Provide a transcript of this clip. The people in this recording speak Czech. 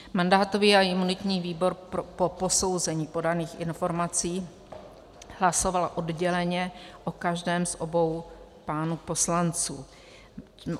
Mandátový a imunitní výbor po posouzení podaných informací hlasoval odděleně o každém z obou pánů poslanců.